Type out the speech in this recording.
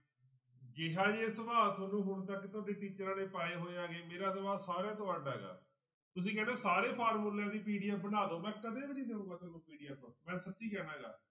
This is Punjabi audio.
ਜਿਹਾ ਜੇ ਸੁਭਾਅ ਤੁਹਾਨੂੰ ਹੁਣ ਤੱਕ ਤੁਹਾਡੇ ਟੀਚਰਾਂ ਨੇ ਪਾਏ ਹੋਏ ਹੈਗੇ ਮੇਰਾ ਸੁਭਾਅ ਸਾਰਿਆਂ ਤੋਂ ਅੱਢ ਹੈਗਾ ਤੁਸੀਂ ਕਹਿੰਦੇ ਹੋ ਸਾਰੇ ਫਾਰਮੂਲਿਆਂ ਦੀ PDF ਬਣਾ ਦਓ ਮੈਂ ਕਦੇ ਵੀ ਨੀ ਦਊਂਗਾ ਤੁਹਾਨੂੰ PDF ਮੈਂ ਸੱਚੀ ਕਹਿਨਾ ਗਾ